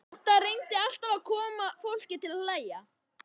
Dadda reyndi alltaf að koma fólki til að hlæja.